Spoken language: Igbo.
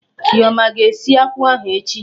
Chioma aga esi akwụ ahụ echi?